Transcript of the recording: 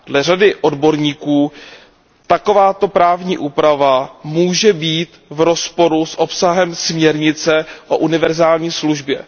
Dle řady odborníků takováto právní úprava může být v rozporu s obsahem směrnice o univerzální službě.